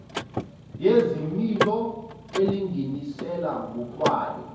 yezimilo elinganisela ngokwayo